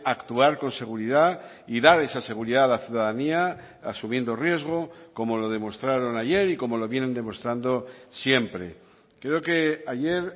actuar con seguridad y dar esa seguridad a la ciudadanía asumiendo riesgo como lo demostraron ayer y como lo vienen demostrando siempre creo que ayer